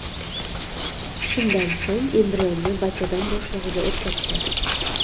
Shundan so‘ng embrionni bachadon bo‘shlig‘iga o‘tkazishadi.